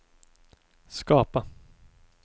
skapa